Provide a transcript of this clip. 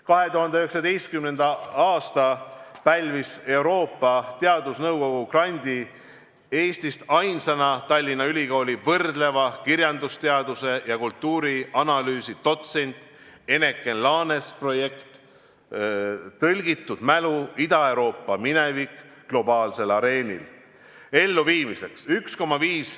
2019. aastal pälvis Euroopa Teadusnõukogu grandi Eestist ainsana Tallinna Ülikooli võrdleva kirjandusteaduse ja kultuurianalüüsi dotsent Eneken Laanes projekti "Tõlgitud mälu: Ida-Euroopa minevik globaalsel areenil" elluviimiseks.